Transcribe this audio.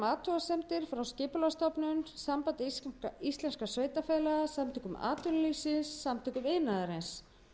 athugasemdir frá skipulagsstofnun sambandi íslenskum sveitarfélaga samtökum atvinnulífsins og samtökum iðnaðarins við að víkka